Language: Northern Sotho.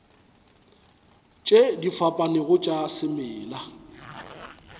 tše di fapanego tša semela